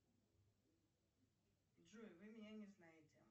джой вы меня не знаете